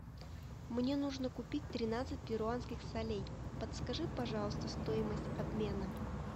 мне нужно купить тринадцать перуанских солей подскажи пожалуйста стоимость обмена